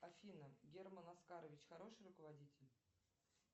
афина герман оскарович хороший руководитель